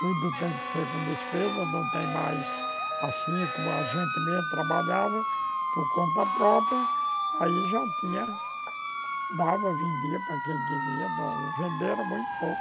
Tudo tem que ser com despesas, não tem mais... Assim como a gente mesmo trabalhava por conta própria, aí já tinha... Dava, vendia para quem queria, venderam muito pouco.